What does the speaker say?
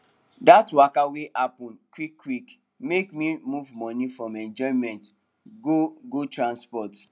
that waka wey happen quickquick make me move money from enjoyment go go transport